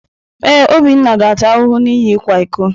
Ee, Obinna ga-ata ahụhụ n’ihi ịkwa iko.